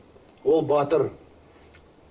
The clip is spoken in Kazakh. ол батыр